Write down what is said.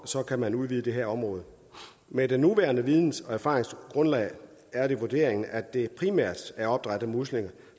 kan man udvide det her område med det nuværende videns og erfaringsgrundlag er det vurderingen at det primært er opdræt af muslinger